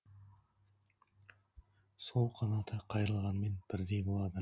сол қанаты қайрылғанмен бірдей болады